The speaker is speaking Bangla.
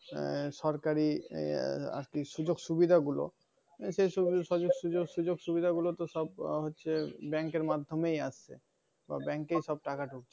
আহ সরকার ইয়ার কি সুযোগ সুবিধা গুলো। সে সু~ সুজ~ সুজক সুযোগ সুবিধা গুলো সব হচ্ছে bank এর মাধ্যেই আসে বা bank এই সব টাকা ডুকে।